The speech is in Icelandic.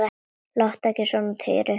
Láttu ekki svona Týri.